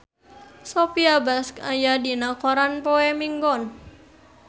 Sophia Bush aya dina koran poe Minggon